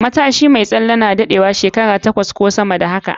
Pillow mai tsalen na daɗewa hat shekara takwas ko sama da haka.